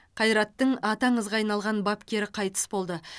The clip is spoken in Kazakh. қайраттың аты аңызға айналған бапкері қайтыс болды